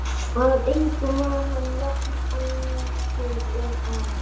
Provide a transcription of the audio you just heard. Í vætutíð og leysingum er það hærra en í þurrkum.